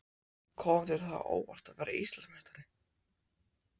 Kom þér það á óvart að verða Íslandsmeistari?